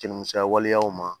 Jɛnini misɛnya waleyaw ma